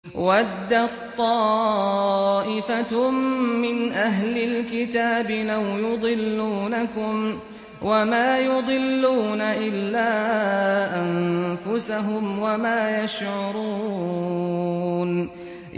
وَدَّت طَّائِفَةٌ مِّنْ أَهْلِ الْكِتَابِ لَوْ يُضِلُّونَكُمْ وَمَا يُضِلُّونَ إِلَّا أَنفُسَهُمْ وَمَا يَشْعُرُونَ